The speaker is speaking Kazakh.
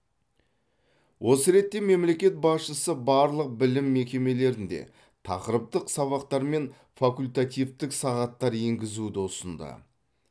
осы ретте мемлекет басшысы барлық білім мекемелерінде тақырыптық сабақтар мен факультативтік сағаттар енгізуді ұсынды